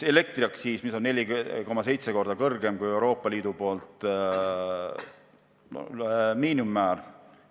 Elektriaktsiis on meil 4,7 korda kõrgem, kui on Euroopa Liidu miinimumäär.